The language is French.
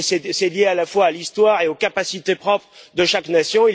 C'est lié à la fois à l'histoire et aux capacités propres de chaque nation.